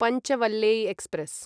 Panchvalley express